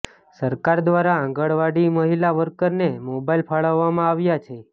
સરકાર દ્વારા આંગણાવડી મહિલા વર્કરને મોબાઇલ ફાળવવામાં આવ્યા છે